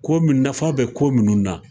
Ko nafa bɛ ko minnu na.